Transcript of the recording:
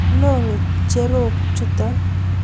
loo ngecherok chuto